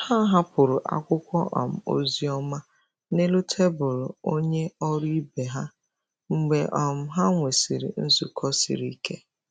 Ha hapụrụ akwụkwọ um ozi ọma n'elu tebụl onye ọrụ ibe ha mgbe um ha nwesịrị nzukọ siri ike.